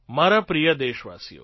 મારા પ્રિય દેશવાસીઓ